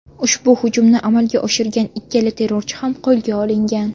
Ushbu hujumni amalga oshirgan ikkala terrorchi ham qo‘lga olingan.